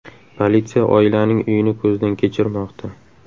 Politsiya oilaning uyini ko‘zdan kechirmoqda.